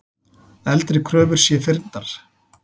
Eldri kröfur sé fyrndar.